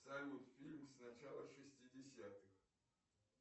салют фильм с начала шестидесятых